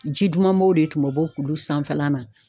Ji dumanbaw de tun bɛ bɔ kulu sanfɛla la